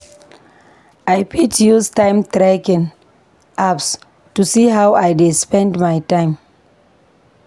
I fit use time-tracking apps to see how I dey spend my time.